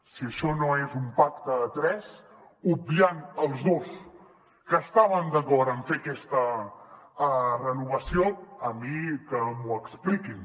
si això no és un pacte a tres obviant els dos que estaven d’acord en fer aquesta renovació a mi que m’ho expliquin